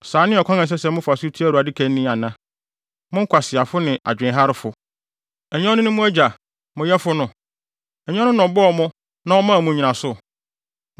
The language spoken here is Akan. Saa ne ɔkwan a ɛsɛ sɛ mofa so tua Awurade ka ni ana, mo nkwaseafo ne adwenharefo? Ɛnyɛ ɔno ne mo Agya, mo yɛfo no? Ɛnyɛ ɔno na ɔbɔɔ mo na ɔmaa mo nnyinaso?